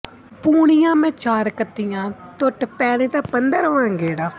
ਪੂਣੀਆਂ ਮੈਂ ਚਾਰ ਕੱਤੀਆਂ ਟੁੱਟ ਪੈਣੇ ਦਾ ਪੰਦਰਵਾਂ ਗੇੜਾ